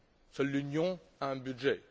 Seule l'Union a un budget.